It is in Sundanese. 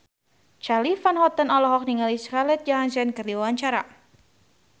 Charly Van Houten olohok ningali Scarlett Johansson keur diwawancara